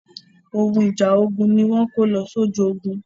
Ohun ìjà ogun ni wọ́n ń kó lọ sójú ogun.